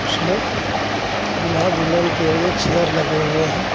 उसमें दूल्हा दुल्हन के लिए चेयर लगे हुए हैं.